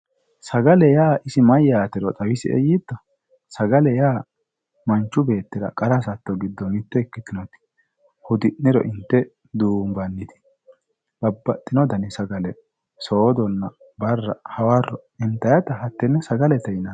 Sagale yaa isi mayyate ,sagalete yaa manchu beettira qara hasatto giddo mite ikkittanna hudi'niro inte duumbe babbaxxino dani sagale loonse soodona barra hawaro intannitta hatene sagalete yinanni.